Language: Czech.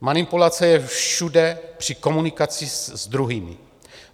Manipulace je všude při komunikaci s druhými.